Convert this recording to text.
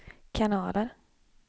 kanaler